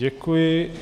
Děkuji.